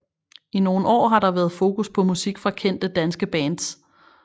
I nogle år har der været fokus på musik fra kendte danske bands